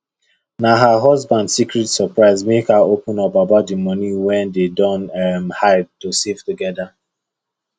na her husband secret surprise make her open up about the money wey dem don um hide to save together